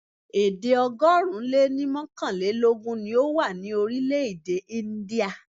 Èdè ọgọ́rùn-ún lé ní mọ́kànlélógún ni ó wà ní orílẹ̀-èdè India.